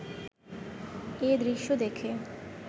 এ দৃশ্য দেখে